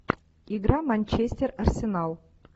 игра манчестер арсенал